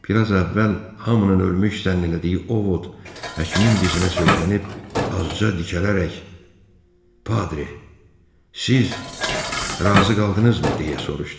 Bir az əvvəl hamının ölmüş zənn elədiyi Ovod həkimin dizinə söykənib azca dikələrək, Padre, siz razı qaldınızmı? deyə soruşdu.